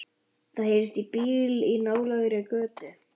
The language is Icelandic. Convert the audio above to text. Það heyrist í bíl í nálægri götu.